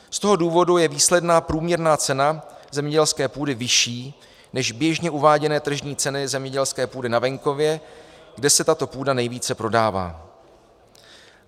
Z toho důvodu je výsledná průměrná cena zemědělské půdy vyšší než běžně uváděné tržní ceny zemědělské půdy na venkově, kde se tato půda nejvíce prodává.